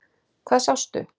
Hvað sástu?